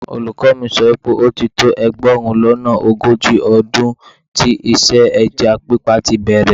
Olùkọ́ mi sọ wípé ó ti tó ẹgbẹ̀rún lọ́nà ogójì ọdún tí iṣẹ́ ẹja pípa tíi bẹ̀rẹ̀